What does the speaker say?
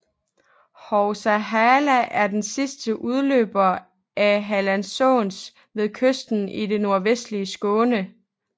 Hovs hallar er den sidste udløber af Hallandsåsen ved kysten i det nordvestlige Skåne